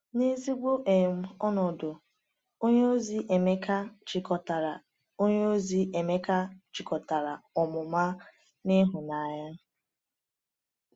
N’ezigbo um ọnọdụ, onyeozi Emeka jikọtara onyeozi Emeka jikọtara ọmụma na ịhụnanya.